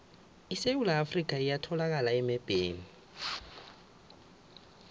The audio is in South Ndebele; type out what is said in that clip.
isewula afrika iyatholakala emebheni